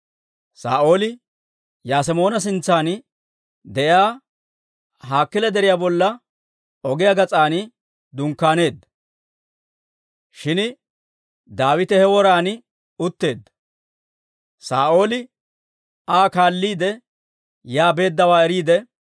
Saa'ooli Yasemoona sintsan de'iyaa Hakiila deriyaa bolla ogiyaa gas'aan dunkkaaneedda; shin Daawite he woran utteedda. Saa'ooli Aa kaalliide yaa beeddawaa eriide,